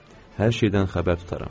Hər şeydən xəbər tutaram.